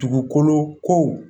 Dugukolo ko